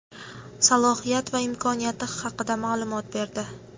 salohiyat va imkoniyati haqida ma’lumot berdi.